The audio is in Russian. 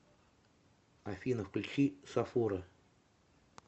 афина включи сафура